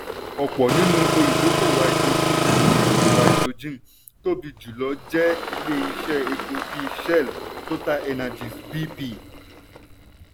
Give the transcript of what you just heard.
ọ̀pọ̀ nínú olùdókóòwò háídírójìn nínú olùdókóòwò háídírójìn tóbi jùlọ jẹ́ ilé iṣẹ́ epo bíi shell totalenergies bp.